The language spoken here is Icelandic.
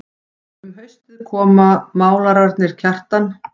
Um haustið koma málararnir Kjartan